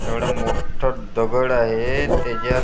एवढं मोठं दगड आहे त्याच्यात --